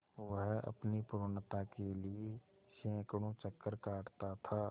वह अपनी पूर्णता के लिए सैंकड़ों चक्कर काटता था